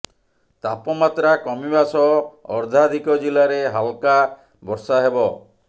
ତାପମାତ୍ରା କମିବା ସହ ଅର୍ଧାଧିକ ଜିଲ୍ଲାରେ ହାଲକା ବର୍ଷା ହେବ